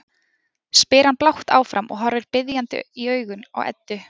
spyr hann blátt áfram og horfir biðjandi í augun á Eddu.